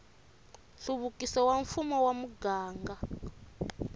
nhluvukiso wa mfumo wa muganga